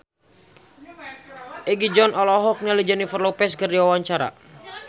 Egi John olohok ningali Jennifer Lopez keur diwawancara